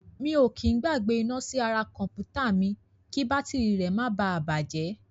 Mi ò kí í gbàgbé iná sí ara kọ̀m̀pútà mi kí bátìrì rẹ̀ máa bà á bàjẹ́.